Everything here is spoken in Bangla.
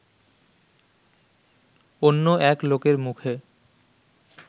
অন্য এক লোকের মুখে